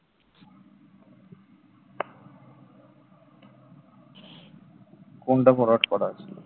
কোনটা forward করা আছে?